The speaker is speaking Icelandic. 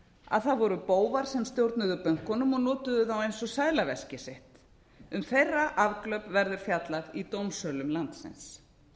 að það voru bófar sem stjórnuðu bönkunum og notuðu þá eins og seðlaveskið sitt um þeirra afglöp verður fjallað í dómsölum landsins